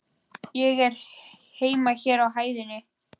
Ég á heima hér á hæðinni.